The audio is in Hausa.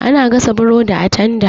Ana gasa burodi a tanda.